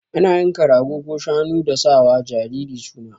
Ana yanka rago ko shanu dan sa wa jariri suna